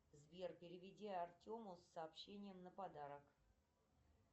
сбер переведи артему с сообщением на подарок